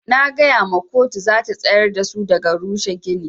Na gaya ma koto zata tsayar dasu daga rushe gini.